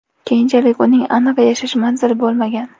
Keyinchalik uning aniq yashash manzili bo‘lmagan.